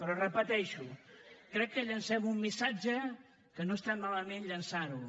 però ho repeteixo crec que llancem un missatge que no està malament llançar lo